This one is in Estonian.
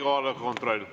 Kohaloleku kontroll.